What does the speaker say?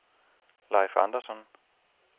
Leif Andersson